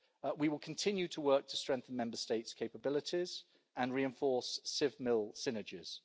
We will continue to work to strengthen Member States' capabilities and reinforce civ-mil synergies.